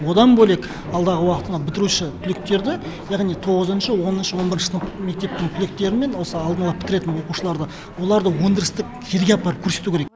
одан бөлек алдағы уақыттағы бітіруші түлектерді яғни тоғызыншы оныншы он бірінші сынып мектептің түлектерімен осы алдын ала бітіреін оқушыларды оларды өндірістік елге апарып көрсету керек